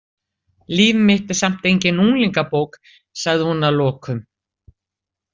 Líf mitt er samt engin unglingabók, sagði hún að lokum.